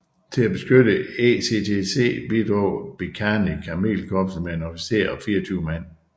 Til at beskytte ECTC bidrog Bikanir kamelkorpset med en officer og 24 mand